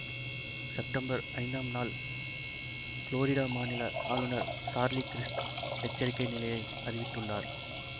September ஐந்தாம் நாள் Florida மாநில ஆளுனர் சார்லி கிரிஸ்ட் எச்சரிக்கை நிலையை அறிவித்துள்ளார்